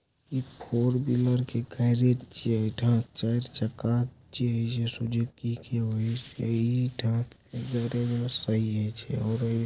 एक four wheeler garage छे जहाँ चार चक्का --